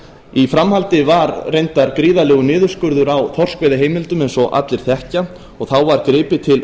í framhaldi var reyndar gríðarlegur niðurskurður á þorskveiðiheimildum eins og allir þekkja og þá var gripið til